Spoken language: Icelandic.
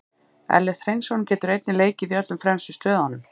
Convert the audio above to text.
Ellert Hreinsson getur einnig leikið í öllum fremstu stöðunum.